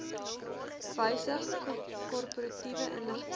wysig korporatiewe inligting